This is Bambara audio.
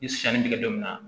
Ni sanni bɛ kɛ don min na